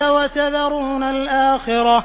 وَتَذَرُونَ الْآخِرَةَ